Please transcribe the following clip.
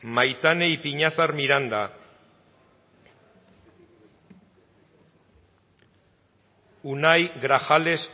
maitane ipiñazar miranda unai grajales